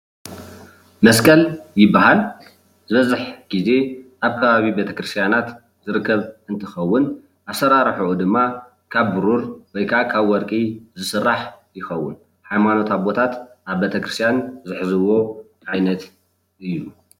መስቀል ይበሃል ። ዝበዝሕ ግዜ ኣብ ኸባቢ ቤተኽርስትያናት ዝርከብ እንትኸውን ኣሰራርሑኡ ድማ ካብ ብሩር ወይ ከዓ ካብ ወርቂ ዝስራሕ ይከውን ። ሃይማኖት ኣቦታት ኣብ ቤተክርስትያን ዝሕዝዎ እዩ።